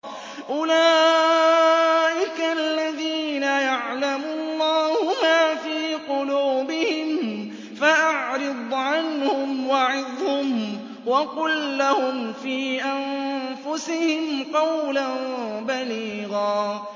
أُولَٰئِكَ الَّذِينَ يَعْلَمُ اللَّهُ مَا فِي قُلُوبِهِمْ فَأَعْرِضْ عَنْهُمْ وَعِظْهُمْ وَقُل لَّهُمْ فِي أَنفُسِهِمْ قَوْلًا بَلِيغًا